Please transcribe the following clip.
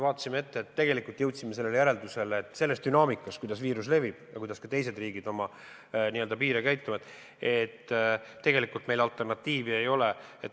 Vaatasime ette ja jõudsime järeldusele, et arvestades dünaamikat, kuidas viirus levib ja kuidas teised riigid oma piire sulgevad, et tegelikult meil alternatiivi ei ole.